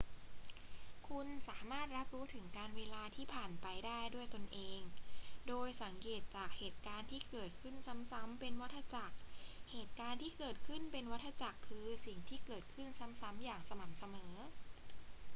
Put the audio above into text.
คุณสามารถรับรู้ถึงกาลเวลาที่ผ่านไปได้ด้วยตนเอง โดยสังเกตจากเหตุการณ์ที่เกิดขึ้นซ้ำๆ เป็นวัฏจักร เหตุการณ์ที่เกิดขึ้นเป็นวัฏจักรคือสิ่งที่เกิดขึ้นซ้ำๆ อย่างสม่ำเสมอ